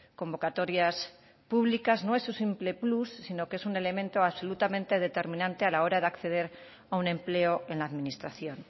convocatorias públicas no es simple plus sino que es un elemento absolutamente determinante a la hora de acceder a un empleo en la administración